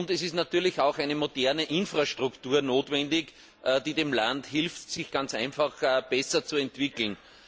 Und es ist natürlich auch eine moderne Infrastruktur notwendig, die dem Land hilft, sich besser zu entwickeln.